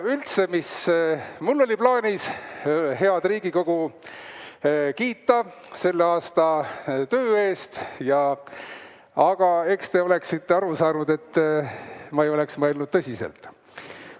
Üldse, mul oli plaanis head Riigikogu kiita selle aasta töö eest, aga eks te oleksite aru saanud, et ma ei oleks seda mõelnud tõsiselt.